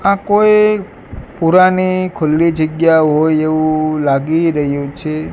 આ કોઈ પુરાની ખુલ્લી જગ્યા હોય એવું લાગી રહ્યું છે.